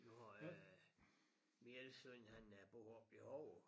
Du har øh min ene søn han bor oppe i Hover